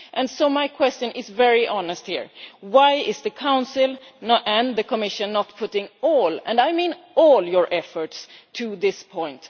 And so my question is very honest here why are the Council and the Commission not putting all and I mean all their efforts into this point?